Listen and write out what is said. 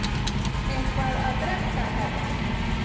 Eitthvað að drekka, herra?